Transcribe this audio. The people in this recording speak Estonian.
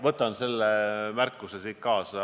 Võtan selle märkuse siit kaasa.